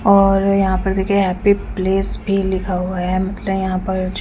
मतलब यहाँ पर और यहाँ पर देखिये हैप्पी प्लेस भी लिखा हुआ है मतलब यहाँ पर ज --